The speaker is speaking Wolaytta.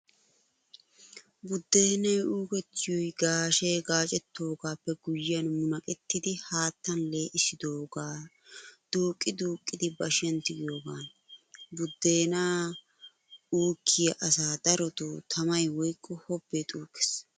Buddeenay uukettiyoy gaashe gaacettoogaappe guyyiyaan munaqettidi haattan lee'issidoogaa duuqqi duuqqidi bashiyaan tigiyoogaana. Buddeenaa uukkiyaa asaa darotoo tamay woykko hobbee xuuggees.